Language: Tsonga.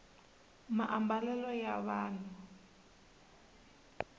maambalelo ya vanhu